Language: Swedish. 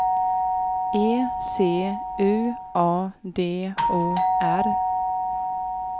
E C U A D O R